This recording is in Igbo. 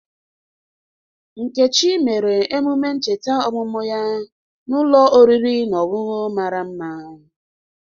Nkechi mere emume ncheta ọmụmụ ya n'ulọ oriri na ọṅụṅụ mara mma.